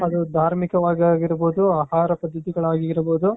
ಅದು ಧಾರ್ಮಿಕವಾಗಿರಬಹುದು ಆಹಾರ ಪದ್ಧತಿಗಳಾಗಿರಬಹುದು